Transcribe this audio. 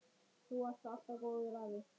Þú varst alltaf góður afi.